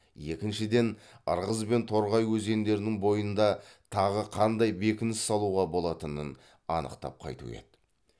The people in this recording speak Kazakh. екіншіден ырғыз бен торғай өзендерінің бойында тағы қандай бекініс салуға болатынын анықтап қайту еді